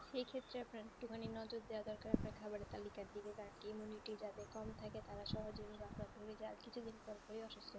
সেই ক্ষেত্রে আপনার একটু মানে নজর দেওয়া দরকার আপনার খাবারের তালিকার দিকে কারণ immunity যাদের কম থাকে তারা সহজেই রোগ আক্রান্ত হয়ে যাই আর কিছু দিন পর পরেই অসুস্থ